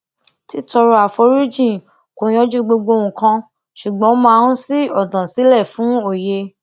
títọrọ àforíjì kò yanjú gbogbo nǹkan ṣùgbón ó máa n ṣí ònà sílè fún òye